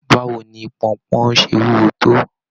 Báwo ni ponpon ṣe wúwo tó?